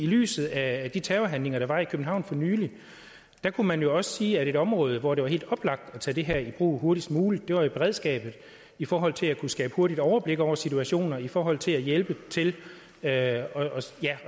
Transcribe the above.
lyset af de terrorhandlinger der var i københavn for nylig kunne man jo også sige at et område hvor det var helt oplagt at tage det her i brug hurtigst muligt var i beredskabet i forhold til at kunne skabe et hurtigt overblik over situationer i forhold til at hjælpe til at